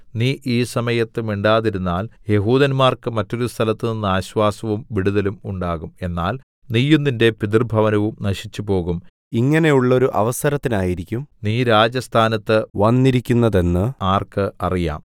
നീ ഈ സമയത്ത് മിണ്ടാതിരുന്നാൽ യെഹൂദന്മാർക്ക് മറ്റൊരു സ്ഥലത്തുനിന്ന് ആശ്വാസവും വിടുതലും ഉണ്ടാകും എന്നാൽ നീയും നിന്റെ പിതൃഭവനവും നശിച്ചുപോകും ഇങ്ങനെയുള്ളോരു അവസരത്തിനായിരിക്കും നീ രാജസ്ഥാനത്ത് വന്നിരിക്കുന്നതെന്ന് ആർക്ക് അറിയാം